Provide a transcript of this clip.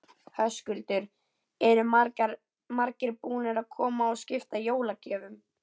Höskuldur: Eru margir búnir að koma og skipta jólagjöfum?